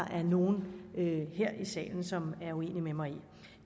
er nogen her i salen som er uenig med mig